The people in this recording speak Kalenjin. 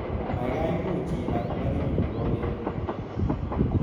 Gaigai muuch ibar plakinyu nebo wemo